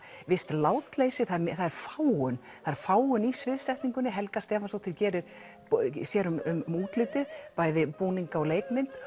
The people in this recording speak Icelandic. visst látleysi það er fágun það er fágun í sviðsetningunni Helga Stefánsdóttir sér um útlitið bæði búninga og leikmynd